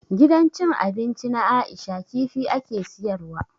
Gidan cin abinci na Aisha kifi ake siyar wa.